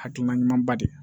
Hakilina ɲumanba de ye